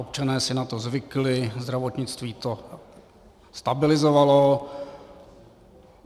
Občané si na to zvykli, zdravotnictví to stabilizovalo.